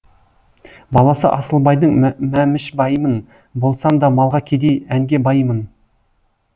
баласы асылбайдың мәмішбаймын болсам да малға кедей әнге баймын